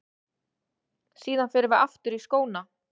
Síðan förum við aftur í skóna.